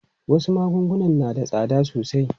Wasu magunguna na da tsada sosai.